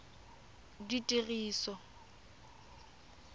ditiriso